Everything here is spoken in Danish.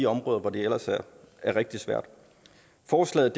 områder hvor det ellers er rigtig svært forslaget